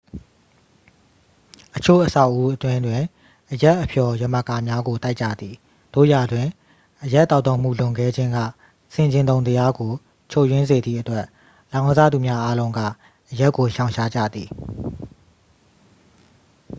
အချို့ အဆောက်အဦးအတွင်းတွင်အရက်အဖျော်ယမကာများကို တိုက်ကြသည် သို့ရာတွင် အရက်သောက်သုံးမှုလွန်ကဲခြင်းက ဆင်ခြင်တုံတရားကို ချွတ်ယွင်းစေသည့်အတွက် လောင်းကစားသူများအားလုံးက အရက်ကို ရှောင်ရှားကြသည်